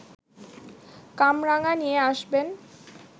কামরাঙা নিয়ে আসবেন